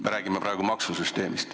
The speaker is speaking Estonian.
Me räägime praegu maksusüsteemist.